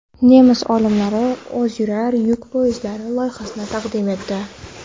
Nemis olimlari o‘ziyurar yuk poyezdlari loyihasini taqdim etdi.